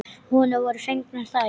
Honum voru fengnar þær.